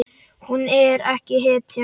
Hún er ekki hetja.